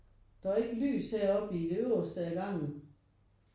Der var ikke lys heroppe i det øverste af gangen